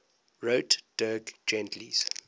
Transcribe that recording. wrote dirk gently's